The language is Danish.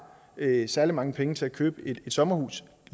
særlig mange penge til at købe et sommerhus